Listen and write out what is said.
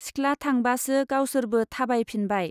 सिख्ला थांबासो गावसोरबो थाबाय फिनबाय।